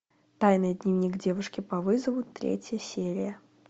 тайный дневник девушки по вызову третья серия